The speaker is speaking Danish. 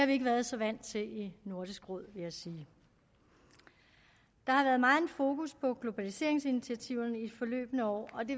vi ikke været så vant til i nordisk råd vil jeg sige der har været megen fokus på globaliseringsinitiativet i de forløbne år og det